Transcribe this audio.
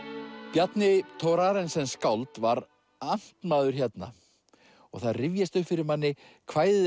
Bjarni Thorarensen skáld var amtmaður hérna og það rifjast upp fyrir manni kvæðið